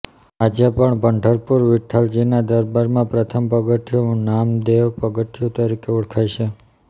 આજે પણ પંઢરપુર વિઠ્ઠલજીના દરબારમાં પ્રથમ પગથિયું નામદેવ પગથિયું તરીકે ઓળખાય છે